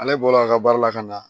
Ale bɔla a ka baara la ka na